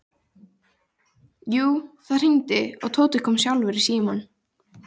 Jú, það hringdi og Tóti kom sjálfur í símann.